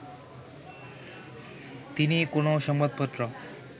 তিনি কোনও সংবাপত্র